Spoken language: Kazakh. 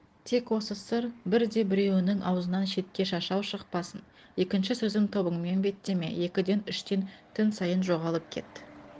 тек осы сыр бірде-біреуіңнің аузыңнан шетке шашау шықпасын екінші сөзім тобыңмен беттеме екіден үштен түн сайын жоғалып кет